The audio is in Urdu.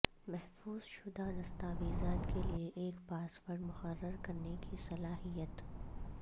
محفوظ شدہ دستاویزات کے لئے ایک پاس ورڈ مقرر کرنے کی صلاحیت